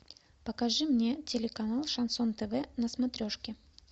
покажи мне телеканал шансон тв на смотрешке